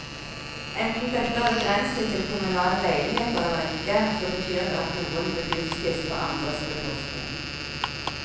Enten dette er begrenset til kommunale leiligheter eller ikke, så betyr det at noen begunstiges på andres bekostning.